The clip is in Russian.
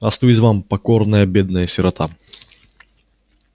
остаюсь вам покорная бедная сирота